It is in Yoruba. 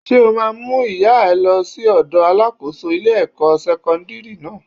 Ṣé o ma mú ìyá ẹ lọ sí ọ̀dọ̀ Alákóso ilé ẹ̀kọ́ sẹ́kọ́ńdírì náà?